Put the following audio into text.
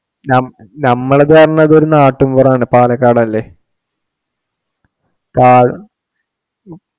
ന~നമ്മളിതു കാരണം ഒരു നാട്ടിൻ പുറം ആണ് പാലക്കാട് അല്ലെ. കാട്